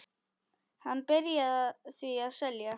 Hann byrjaði því að selja.